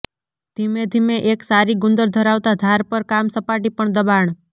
ધીમેધીમે એક સારી ગુંદર ધરાવતા ધાર પર કામ સપાટી પર દબાણ